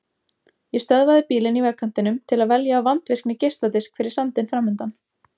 Ég stöðva bílinn í vegkantinum til að velja af vandvirkni geisladisk fyrir sandinn fram undan.